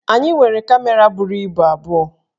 Anyị nwere kamera buru ibu abụọ